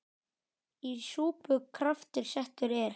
Í súpu kraftur settur er.